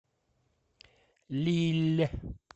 лилль